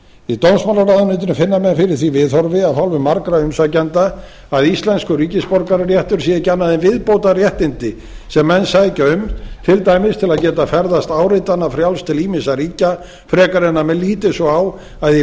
í dómsmálaráðuneytinu finna menn fyrir því viðhorfi af hálfu margra umsækjenda að íslenskur ríkisborgararéttur sé ekki annað en viðbótarréttindi sem menn sækja um til dæmis til að geta ferðast áritanafrjálst til ýmissa ríkja frekar en að menn líti svo á að í